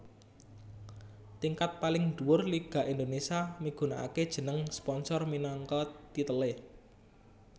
Tingkat paling dhuwur Liga Indonésia migunakaké jeneng sponsor minangka titelé